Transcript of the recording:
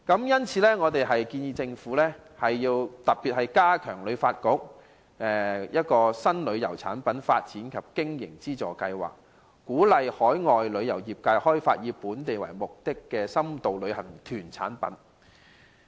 因此，我們建議政府加大力度，加強旅發局的"新旅遊產品發展及經費資助計劃"，鼓勵海外旅遊業界開發以香港為目的地的深度旅遊活動。